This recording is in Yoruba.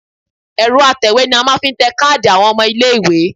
Ẹ̀rọ atẹ̀wé ni a fi máa ń tẹ káàdì àwọn ọmọ ilé-ìwé